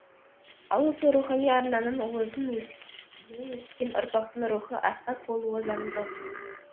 ал осы рухани арнаның уызын еміп өскен ұрпақтың рухы асқақ болуы заңдылық